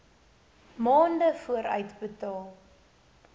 maande vooruit betaal